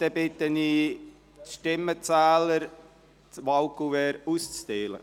Ich bitte die Stimmenzähler, die Wahlkuverts auszuteilen.